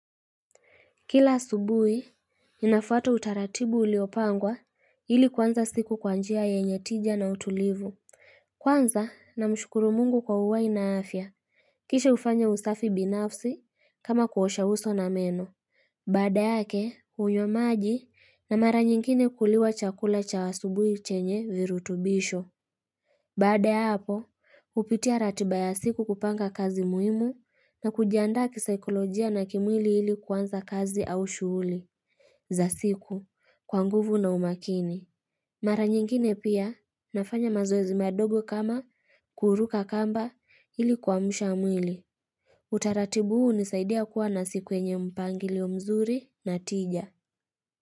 Kila asubuhi, ninafuata utaratibu uliopangwa hili kuwanza siku kwa njia yenye tija na utulivu. Kwanza na mshukuru mungu kwa uhai na afya. Kisha ufanya usafi binafsi kama kuosha uso na meno. Baada yake, unywa maji na mara nyingine kuliwa chakula cha asubuhi chenye virutubisho. Baada hapo, hupitia ratiba ya siku kupanga kazi muhimu na kujiandaa kisaikolojia na kimwili hili kuanza kazi au shuhuli za siku kwa nguvu na umakini. Mara nyingine pia nafanya mazoezi madogo kama kuruka kamba hili kuamusha mwili. Utaratibu huu unisaidia kuwa na siku yenye mpangilio mzuri na tija.